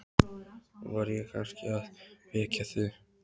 Var ég kannski að vekja þig?